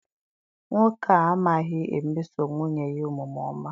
Nwoke a amaghi emeso nwunye ya omume ọma.